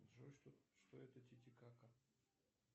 джой что это титикака